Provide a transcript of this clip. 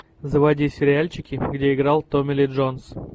заводи сериальчики где играл томми ли джонс